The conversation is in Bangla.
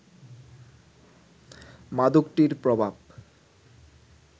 মাদকটির প্রভাব